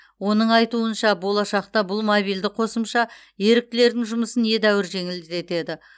оның айтуынша болашақта бұл мобильді қосымша еріктілердің жұмысын едәуір жеңілдетеді